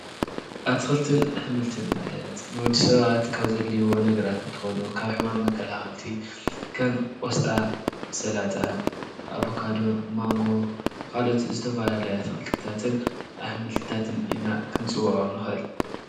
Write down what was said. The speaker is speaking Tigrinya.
ኣትኽልትን ኣሓሞልትን ማለት ንወዲሰባት ዘድልይዎ ነገራት እንትኾኑ ካብ ሕማም መከላኸልቲ ከም ቆስጣ፣ ስላጣን ኣቨካዶን ዝአመሰሉ ይርከብዎም።